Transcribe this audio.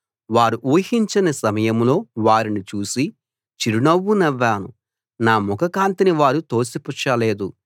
వారు ఉహించని సమయంలో వారిని చూసి చిరునవ్వు నవ్వాను నా ముఖ కాంతిని వారు తోసిపుచ్చలేదు